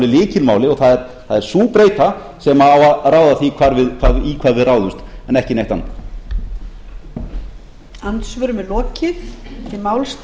lykilmáli og það er sú breyta sem á að ráða því í hvað við ráðumst en ekki neitt annað